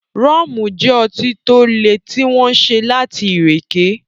Rọ́mù jẹ́ ọtí to le tí wọ́n ṣe láti ìrèké